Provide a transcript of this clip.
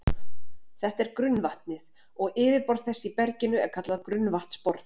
Þetta er grunnvatnið, og yfirborð þess í berginu er kallað grunnvatnsborð.